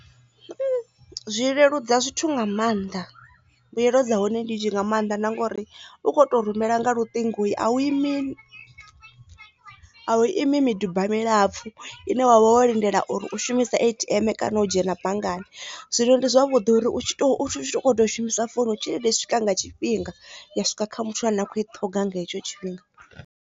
Zwi leludza zwithu nga maanḓa mbuyelo dza hone ndi nnzhi nga maanḓa na ngori u kho to rumela nga luṱingo i a u imi a u ima miduba milapfu ine wa vha wo lindela uri u shumisa A_T_M kana u dzhena banngani zwino ndi zwavhuḓi uri u ḓo shumisa founu u tshelede swika nga tshifhinga ya swika kha muthu ane a khou i ṱhoga nga hetsho tshifhinga.